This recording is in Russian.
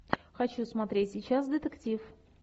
хочу смотреть сейчас детектив